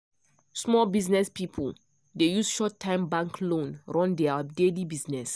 small business people dey use short-time bank loan run their daily business.